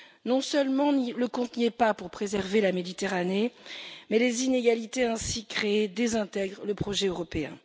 Non seulement le compte n'y est pas pour préserver la Méditerranée, mais les inégalités ainsi créées désintègrent le projet européen.